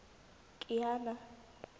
kiana